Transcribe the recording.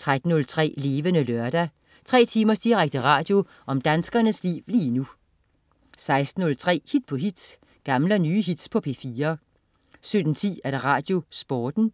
13.03 Levende Lørdag. Tre timers direkte radio om danskernes liv lige nu 16.03 Hit på hit. Gamle og nye hits på P4 17.10 RadioSporten